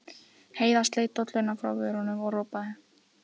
Heiða sleit dolluna frá vörunum og ropaði.